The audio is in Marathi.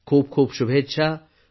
खूप खूप शुभेच्छा